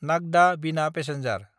Nagda-Bina passenger